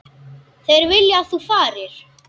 Þeir vilja að þú farir.